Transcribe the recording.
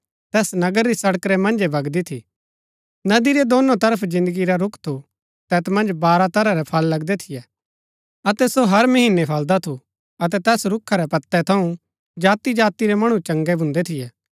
तैस नगर री सड़क रै मन्जै वगदी थी नदी रै दोनो तरफ जिन्दगी रा रूख थू तैत मन्ज बारह तरह रै फल लगदै थियै अतै सो हर महीनै फलदा थू अतै तैस रूखा रै पतै थऊँ जाति जाति रै मणु चंगै भून्दै थियै